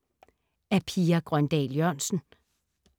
Af Pia Grøndahl Jørgensen